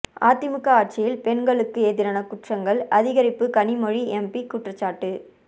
அதிமுக ஆட்சியில் பெண்களுக்கு எதிரான குற்றங்கள் அதிகரிப்பு கனிமொழி எம்பி குற்றச்சாட்டு